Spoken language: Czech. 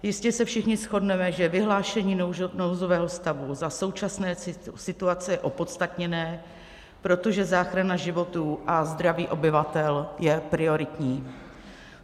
Jistě se všichni shodneme, že vyhlášení nouzového stavu za současné situace je opodstatněné, protože záchrana životů a zdraví obyvatel je prioritní.